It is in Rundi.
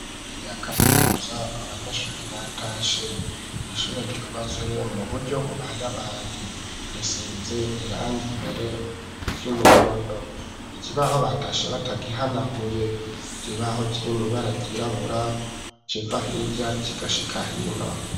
Raryakamaimuza abanyeshuri batashe m'ishure ryubatswe mu buryo bubayabaye riseze irange imbere ry'umuhondo iki baho batashe batagihanaguye ryibaho kirimibara ryirabura civa hirya c'igashika hino.